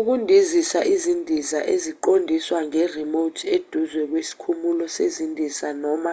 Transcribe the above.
ukundizisa izindiza eziqondiswa nge-remote eduze kwesikhumulo sezindiza noma